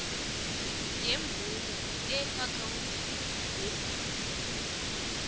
yemvumo eakhawuntini yebhanka